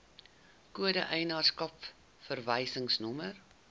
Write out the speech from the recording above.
kode eienaarskap verwysingsnommer